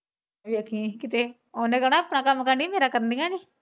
ਵੇਖੀਂ ਕਿੱਤੇ ਉਹਨੇ ਕਹਿਣਾ ਆਪਣਾ ਕੰਮ ਕਰ ਨੀ ਮੇਰਾ ਕਰਦੀਆਂ ਨੀ।